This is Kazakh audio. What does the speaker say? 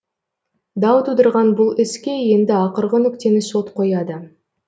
дау тудырған бұл іске енді ақырғы нүктені сот қояды